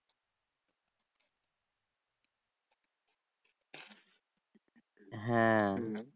হ্যাঁ